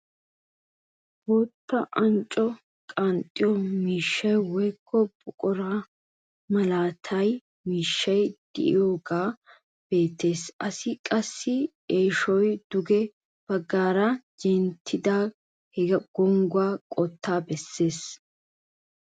Bootta unccaa qanxxiyoo miishsha woykko buquraa milatiyaa miishshay de'iyaagee beettees. assi qassi eeshshoy duge baggaara genttidaage he gonggiyaa qottaa bessees.